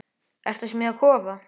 Ertu að smíða kofa?